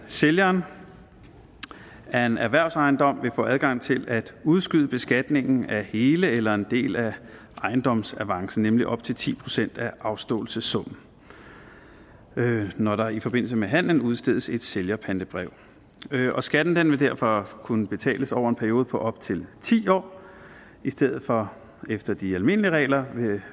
sælgeren af en erhvervsejendom vil få adgang til at udskyde beskatningen af hele eller en del af ejendomsavancen nemlig op til ti procent af afståelsessummen når der i forbindelse med handlen udstedes et sælgerpantebrev skatten vil derfor kunne betales over en periode på op til ti år i stedet for efter de almindelige regler